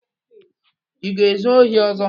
Ị ga-ezu ohi ọzọ?